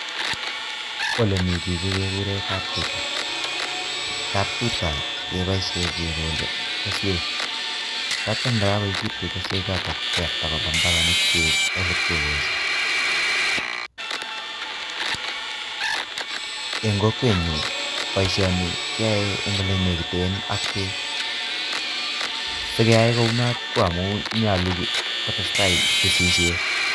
Ole mi chichi kekure kap tuta. Kap tuta keboisie kekole keswek atya ye kakoekitu keswechotok keyapta koba mbaronik cheechen che ipke kolsei eng kokwwet nyu boisioni keae eng ole nekiten ak beek sikeai kunot konyalu kotestai kesisiet.